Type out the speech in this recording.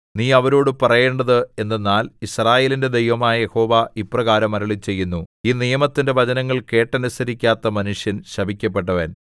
നീ അവരോടു പറയേണ്ടത് എന്തെന്നാൽ യിസ്രായേലിന്റെ ദൈവമായ യഹോവ ഇപ്രകാരം അരുളിച്ചെയ്യുന്നു ഈ നിയമത്തിന്റെ വചനങ്ങൾ കേട്ടനുസരിക്കാത്ത മനുഷ്യൻ ശപിക്കപ്പെട്ടവൻ